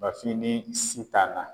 BAFIN ni SITAN na.